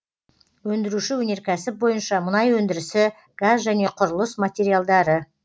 өндіруші өнеркәсіп бойынша мұнай өндірісі газ және құрылыс материалдары